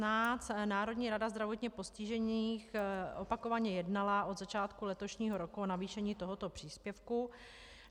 Národní rada zdravotně postižených opakovaně jednala od začátku letošního roku o navýšení tohoto příspěvku.